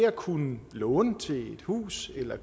at kunne låne til et hus eller